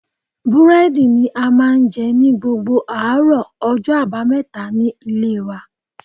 Búrédì ni a máa n je ni gbogbo àárò ojó àbáméta ní Ilé wa